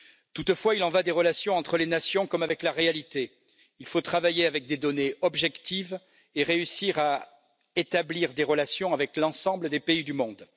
Toutefois, il en va des relations entre les nations comme avec la réalité il faut travailler avec des données objectives et réussir à établir des relations avec l'ensemble des pays du monde.